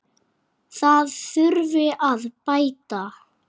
Það þurfi að bæta.